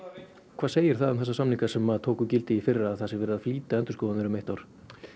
hvað segir það um þessa samninga sem tóku gildi í fyrra að það sé verið að flýta endurskoðun þeirra um eitt ár